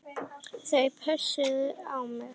Þau pössuðu á mig.